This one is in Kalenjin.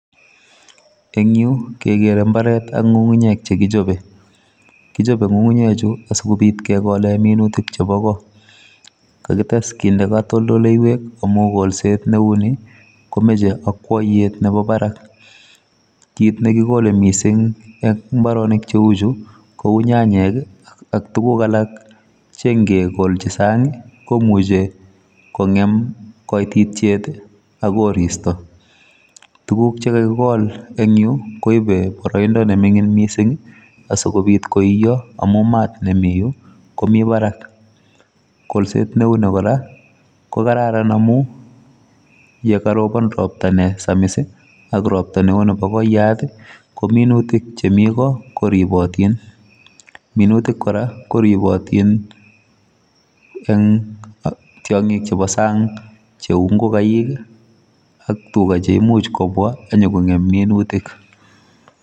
En yuh kegere imbaret ak ngungunyek chekichobe, kichope ngungunyek Chu asikobiit kegoolen minutik chebo goo. Kagetes kinder katoltoleiwek amun kolset menu komoche akwoyet Nebo barak, kit nekikole missing en imbaronik cheuchu ko u nyanyik ak tuguuk alak cheingekolchi sang komuche kongeem koititiet ak koriisto. Tuguuk Che kakikol en yu koibe boroidoo nemingin missing amun maat nemi Yuh komibarak missing mi barak, kolset neuni koraa kokararan amun yekorobon ropta nesamis ak ropta neo Nebo kooyat I kominuutik chemi koo koribootin. Minutik kora koribootin en tiongiik chebo sang cheu ingogaik i,ak tugaa cheimuch kobwa ak inyonkongeem minuutik.